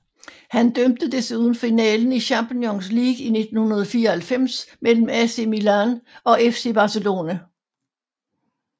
Han dømte desuden finalen i Champions League i 1994 mellem AC Milan og FC Barcelona